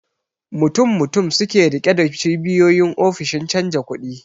Mutum mutum suke rike da cibiyoyin ofishin canja kudi